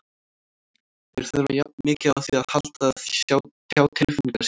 Þeir þurfa jafn mikið á því að halda að tjá tilfinningar sínar.